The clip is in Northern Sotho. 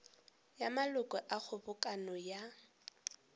ya maloko a kgobokano ya